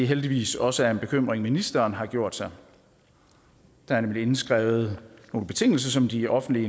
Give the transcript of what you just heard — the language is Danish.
heldigvis også er en bekymring ministeren har gjort sig der er nemlig indskrevet nogle betingelser som de offentlige